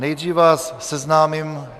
Nejdříve vás seznámím...